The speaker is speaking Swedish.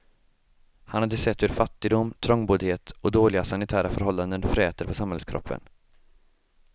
Han hade sett hur fattigdom, trångboddhet och dåliga sanitära förhållanden fräter på samhällskroppen.